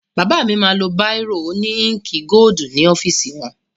Bàbá mi máa lo báìrò òní íǹkì gódù ní ọ́fìsì wọn.